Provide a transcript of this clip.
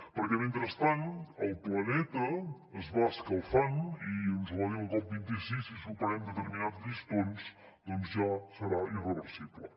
perquè mentrestant el planeta es va escalfant i ens ho va dir el cop26 si superem determinats llistons ja serà irreversible